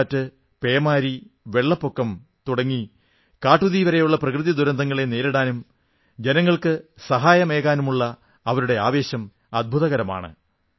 കൊടുങ്കാറ്റ് പേമാരി വെള്ളപ്പൊക്കം തുടങ്ങി കാട്ടുതീ വരെയുള്ള പ്രകൃതിദുരന്തങ്ങളെ നേരിടാനും ജനങ്ങൾക്ക് സഹായമേകാനുമുള്ള അവരുടെ ആവേശം അദ്ഭുതകരമാണ്